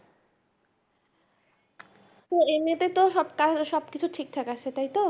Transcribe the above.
তো এমনিতে তো সবকিছু ঠিকঠাক আছে তাইতো